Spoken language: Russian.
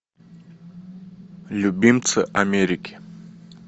любимцы америки